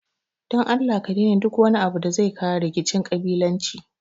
don Allah a daina duk wani abu da zai kawo rikicin ƙabilanci.